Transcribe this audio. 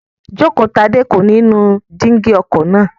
Jókotadé kò ní nu jígí ọkọ̀ náà